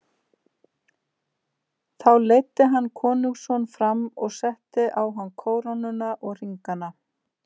Þá leiddi hann konungsson fram og setti á hann kórónuna og hringana.